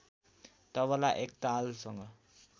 तबला एक तालसँग